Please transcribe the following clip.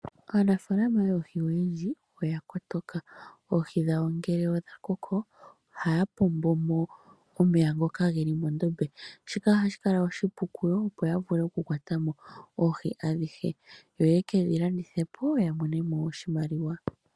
Aanafaalama yoohi oyendji oya kotoka oohi dhawo ngele dhakoko ohaya pombomo omeya ngoka geli mondombe shika ohashi kala oshipu kuyo opo yavule okukwato oohi adhihe yo yekedhi landithepo ya monemo oshimaliwa.